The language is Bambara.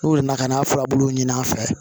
N'u nana ka n'a furabulu ɲini an fɛ